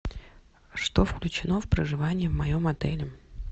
что включено в проживание в моем отеле